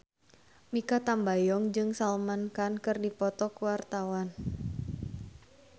Mikha Tambayong jeung Salman Khan keur dipoto ku wartawan